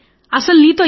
బాగా చీవాట్లు పెట్టారు